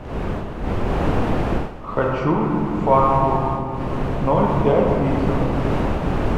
хочу фанту ноль пять литров